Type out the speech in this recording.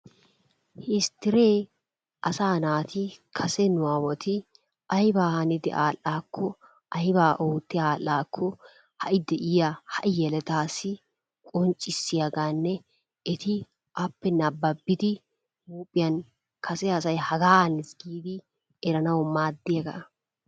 Histiree asaa naati kase nu awati aybaa hanidi adhdhaako aybaa ootti adhdhaakko hai deiyaa hai yeletaassi qonccissiyaagaanne eti appe nababbidi huuphphiyaan kase asay hagaa haniis giidi eranawu maaddiyaagaa.